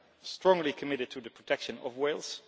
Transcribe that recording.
strongly committed to the protection of whales.